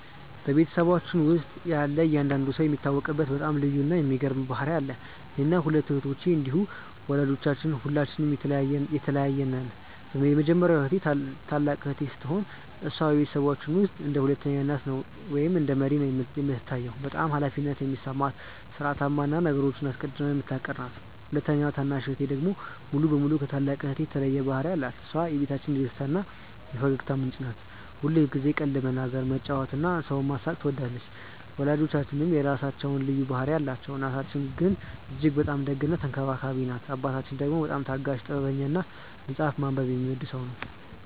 በቤተሰባችን ውስጥ ያለ እያንዳንዱ ሰው የሚታወቅበት በጣም ልዩ እና የሚገርም ባህሪ አለው። እኔና ሁለቱ እህቶቼ እንዲሁም ወላጆቻችን ሁላችንም የተለያየን ነን። የመጀመሪያዋ ታላቅ እህቴ ስትሆን፣ እሷ በቤተሰባችን ውስጥ እንደ ሁለተኛ እናት ወይም እንደ መሪ ነው የምትታየው። በጣም ኃላፊነት የሚሰማት፣ ሥርዓታማ እና ነገሮችን አስቀድማ የምታቅድ ናት። ሁለተኛዋ ታናሽ እህቴ ደግሞ ሙሉ በሙሉ ከታላቅ እህቴ የተለየ ባህሪ አላት። እሷ የቤታችን የደስታ እና የፈገግታ ምንጭ ናት። ሁልጊዜ ቀልድ መናገር፣ መጫወት እና ሰውን ማሳቅ ትወዳለች። ወላጆቻችንም የራሳቸው ልዩ ባህሪ አላቸው። እናታችን እጅግ በጣም ደግ እና ተንከባካቢ ናት። አባታችን ደግሞ በጣም ታጋሽ፣ ጥበበኛ እና መጽሐፍ ማንበብ የሚወድ ሰው ነው።